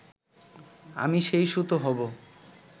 আমি সেই সুতো হবো